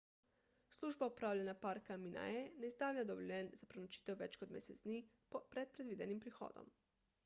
služba upravljanja parka minae ne izdaja dovoljenj za prenočitev več kot mesec dni pred predvidenim prihodom